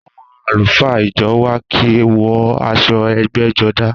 Àwọn àlùfáà ìjọ wa kì í wọ aṣọ ẹgbẹ́jọdá